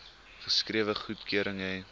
geskrewe goedkeuring hê